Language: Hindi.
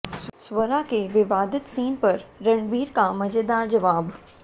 स्वरा के विवादित सीन पर रणबीर का मजेदार जवाब